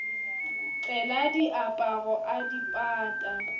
tlela diaparo a di pata